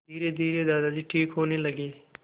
धीरेधीरे दादाजी ठीक होने लगे